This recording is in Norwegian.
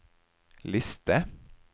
liste